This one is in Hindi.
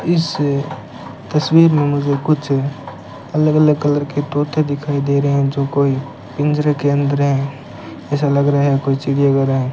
इस तस्वीर में मुझे कुछ अलग अलग कलर के तोते दिखाई दे रहे हैं जो कोई पिंजरे के अंदर हैं ऐसा लग रहा है कोई चिड़िया वगैरह है।